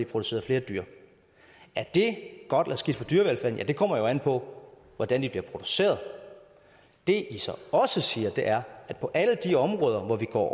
produceret flere dyr er det godt eller skidt for dyrevelfærden ja det kommer jo an på hvordan de bliver produceret det i så også siger er at på alle de områder hvor vi går